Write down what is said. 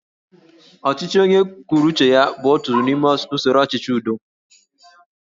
Ọchịchị onye kwuru uche ya bụ otu n'ime usoro ọchịchị udo